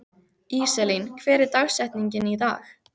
Íselín, hver er dagsetningin í dag?